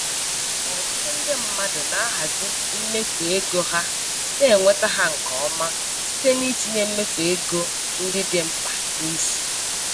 Ọtụtụ ndị mmadụ na-ahazi mmefu ego ha na-enweta ha nke ọma site n'itinye mmefu ego ndị dị mkpa n'isi.